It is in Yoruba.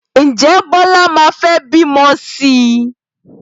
Ǹjẹ́ Bíọ́lá máa fẹ́ bímọ sí i?